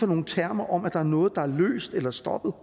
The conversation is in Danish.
nogle termer om at der er noget der er løst eller stoppet